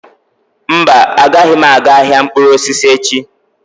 Mba, agaghị m aga ahịa mkpụrụ osisi echi.